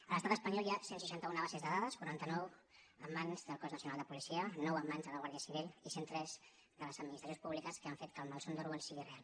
a l’estat espanyol hi ha cent i seixanta un bases de dades quaranta nou en mans del cos nacional de policia nou en mans de la guàrdia civil i cent i tres de les administracions públiques que han fet que el malson d’orwell sigui real